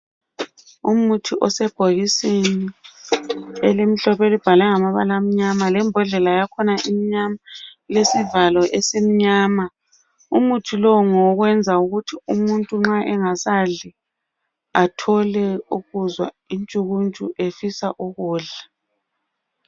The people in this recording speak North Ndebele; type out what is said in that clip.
Umuthi osebhokisini elimhlophe elibhalwe ngamabala amnyama lembodlela yakhona imnyama, ilesivalo esimnyama. Umuthi lo ngowokwenza ukuthi umuntu nxa engasadli athole ukuzwa intshukuntshu efisa ukudla.